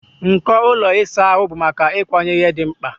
Nko ụlọ ịsa ahụ bụ maka ịkwanye ihe dị mkpa.